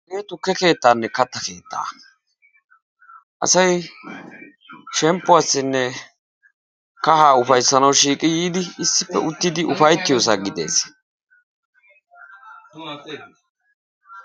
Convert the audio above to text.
Hagee tukke keettaanne katta keettaa; asay shemppuwassi yiidi uttiyo sohuwa geetettees.